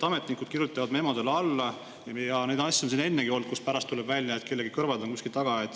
Ametnikud kirjutavad memodele alla ja neid asju on siin ennegi olnud, kus pärast tuleb välja, et kellegi kõrvad on kuskil taga.